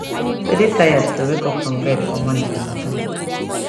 to de tired to wake up from bed for morning be matter